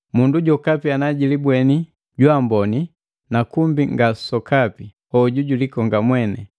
Mundu jokapi anajilibweni jwaamboni na kumbi nga sokapi, hoju jilikonga mwene.